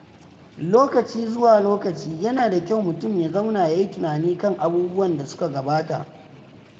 Lokaci zuwa lokaci, yana da kyau mutum ya zauna ya yi tunani kan abubuwan da suka gabata.